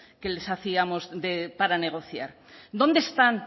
que les hacíamos para negociar dónde están